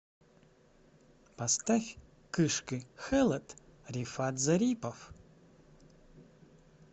поставь кышкы хэлэт рифат зарипов